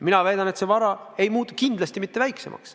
Mina väidan, et see vara ei muutu kindlasti mitte väiksemaks.